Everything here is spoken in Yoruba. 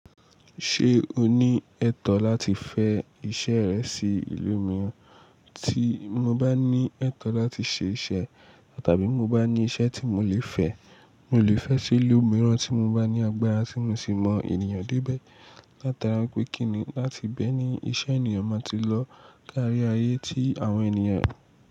Ṣé o ní ẹ̀tọ́ láti fẹ iṣẹ́ rẹ sí ìlú mìíràn? Tí mo bá ní ẹ̀tọ́ láti ṣe iṣẹ́, tàbí mo bá ní iṣẹ́ tí mo lè fẹ, mo lè fẹ́ sí ìlú mìíràn tí mo bá ní agbára, tí mo sì mọ ènìyàn débẹ́. Látara pé kíni láti bẹ́ẹ̀ ni iṣẹ́ ènìyàn máa ti lọ karí ayé tí àwọn ènìyàn.